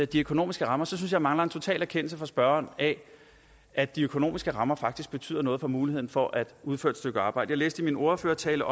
de økonomiske rammer så synes jeg mangler en total erkendelse fra spørgeren af at de økonomiske rammer faktisk betyder noget for muligheden for at udføre et stykke arbejde jeg læste i min ordførertale